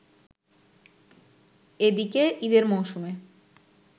এদিকে ঈদের মৌসুমে